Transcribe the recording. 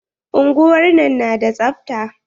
Unguwar nan na da tsabta.